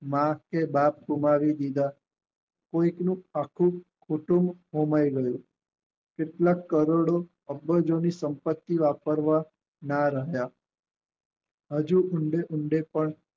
માં કે બાપ ગુમાવી દીધા કોઈક નું આખું કુટુંબ હોમાય ગયું કેટલાક કરોડો અબજો ની સંપત્તિ વાપરવા ના રહ્યા હજુ ઊંડે ઊંડે પણ